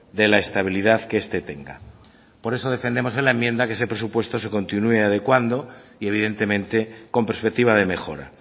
de la estabilidad que este tenga por eso defendemos en la enmienda que ese presupuesto se continúe adecuando y evidentemente con perspectiva de mejora